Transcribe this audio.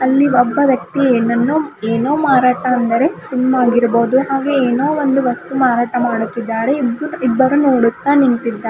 ಅಲ್ಲಿ ಒಬ್ಬ ವ್ಯಕ್ತಿ ಏನನ್ನೋ ಏನೋ ಮಾರಾಟ ಅಂದರೆ ಸಿಮ್ ಆಗಿರಬಹುದು ಹಾಗೆ ಏನೋ ಒಂದು ವಸ್ತು ಮಾರಾಟ ಮಾಡುತ್ತಿದ್ದಾರೆ ಇಬ್ ಇಬ್ಬರು ನೋಡುತ್ತಾ ನಿಂತಿದ್ದಾರೆ.